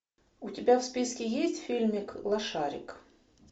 у тебя в списке есть фильмик лошарик